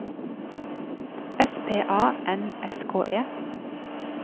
S P A N S K E